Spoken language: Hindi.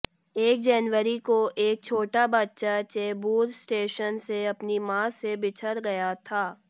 एक जनवरी को एक छोटा बच्चा चेंबूर स्टेशन से अपनी मां से बिछड़ गया था